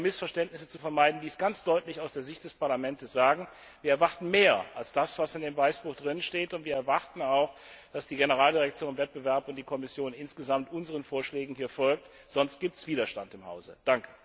Und ich will dies, um Missverständnisse zu vermeiden, ganz deutlich aus der Sicht des Parlaments sagen Wir erwarten mehr als das, was im Weißbuch enthalten ist, und wir erwarten auch, dass die Generaldirektion Wettbewerb und die Kommission insgesamt unseren Vorschlägen folgt, sonst gibt es Widerstand in unserem Haus!